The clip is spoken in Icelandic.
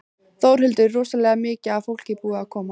Þórhildur: Rosalega mikið af fólki búið að koma?